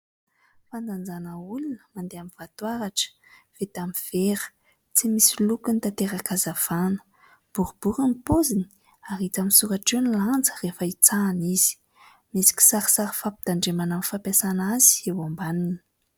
Fandanjana olona mandeha amin'ny vatoaratra, vita amin'ny vera, tsy misy lokony, tatera-pahazavana. Boribory ny paoziny ary hita misoratra eo ny lanja rehefa itsahina izy. Misy kisarisary fampitandremana amin'ny fampiasana azy eo ambaniny.